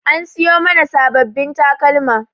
An siyo mana sabbabin takalma.